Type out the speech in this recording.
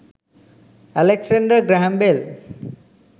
alexander graham bell